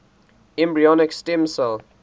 embryonic stem cell